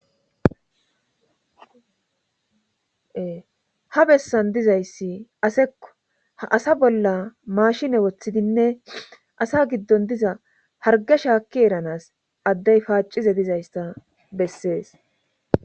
Ha bessan dizayssi aseko a asa bolla mashine woththidinne asa giddon diza harge shaakki eranas addey paacize dizaysta bessees.